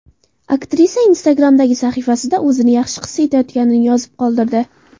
Aktrisa Instagram’dagi sahifasida o‘zini yaxshi his etayotganini yozib qoldirdi .